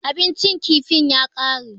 Abincin kifin ya ƙare.